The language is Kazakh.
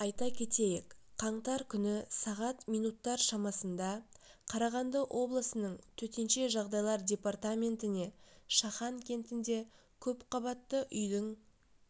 айта кетейік қаңтар күні сағат минуттар шамасында қарағанды облысының төтенше жағдайлар департаментіне шахан кентінде көпқабатты үйдің